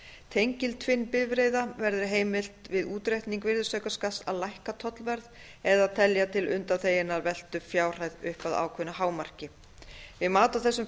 tengiltvinnbifreiða verði heimilt við útreikning virðisaukaskatts að lækka tollverð eða telja til undanþeginnar veltu fjárhæð upp að ákveðnu hámarki við mat á þessum